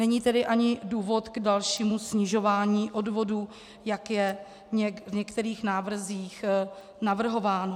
Není tedy ani důvod k dalšímu snižování odvodů, jak je v některých návrzích navrhováno.